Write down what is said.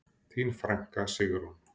Þín frænka, Sigrún.